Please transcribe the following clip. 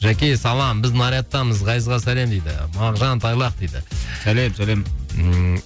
жәке салам біз нарядтамыз ғазизға сәлем дейді мағжан тайлақ дейді сәлем сәлем ммм